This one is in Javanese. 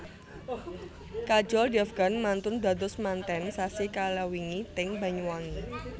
Kajol Devgan mantun dados manten sasi kalawingi teng Banyuwangi